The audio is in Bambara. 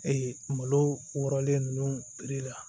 Ee malo wɔrɔlen ninnu